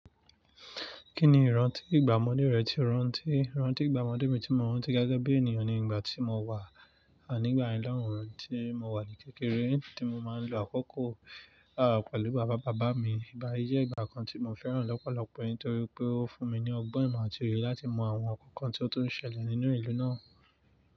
Kí ni ìrántí ìgbà ọmọdé rẹ tí o rántí? Ìrántí ìgbà ọmọdé mi tí mo rántí gẹ́gẹ́ bí ènìyàn ni ìgbà tí mo wà nígbà mí lẹ́hìn ọ́hùń tí mo wà ní kékeré tí mo máa ń lo àkókò pẹ̀lú bàbá bàbá mi. Ìgbà yí jẹ́ ìgbà kan tí mo fẹ́ràn lọ́pọ̀lọpọ̀ nítorí pé ó fún mi ní ọgbọ́n ìmọ̀ àti òye láti mọ àwọn nǹkan tí ó tó ń ṣẹlẹ̀ nínú ìlú náà.